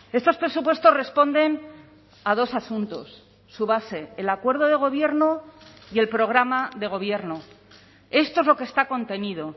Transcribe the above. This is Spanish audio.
estos presupuestos responden a dos asuntos su base el acuerdo de gobierno y el programa de gobierno esto es lo que está contenido